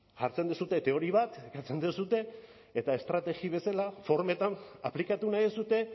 jartzen duzue teoria bat ekartzen duzue eta estrategia bezala formetan aplikatu nahi duzue